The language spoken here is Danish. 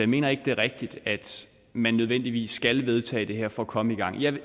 mener ikke at det er rigtigt at man nødvendigvis skal vedtage det her for at komme i gang jeg